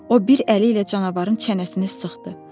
O bir əli ilə canavarın çənəsini sıxdı.